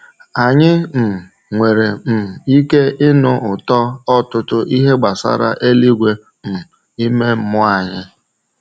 Anyị um nwere um ike ịnụ ụtọ ọtụtụ ihe gbasara eluigwe um ime mmụọ anyị.